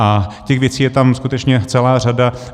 A těch věcí je tam skutečně celá řada.